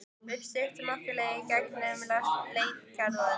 Við styttum okkur leið í gegn um Letigarðinn.